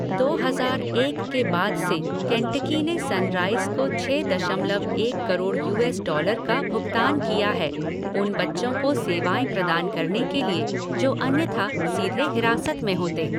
दो हजार एक के बाद से, केंटकी ने सनराइज को छः दशमलव एक करोड़ यूएस डॉलर का भुगतान किया है, उन बच्चों को सेवाएं प्रदान करने के लिए जो अन्यथा सीधे हिरासत में होते।